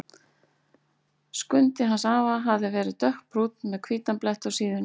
Skundi hans afa hafði verið dökkbrúnn með hvítan blett á síðunni.